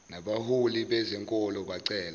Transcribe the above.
nabaholi bezenkolo bacela